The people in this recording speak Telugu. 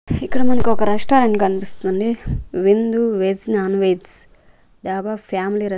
ఇక్కడ మనకొక రెస్టారెంట్ కన్పిస్తుంది Vindu veg non veg dhaba family రెస్--